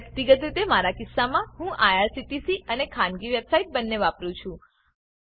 વ્યક્તિગત રીતે મારા કિસ્સામાં હું આઇઆરસીટીસી અને ખાનગી વેબસાઈટ બંને વાપરું છું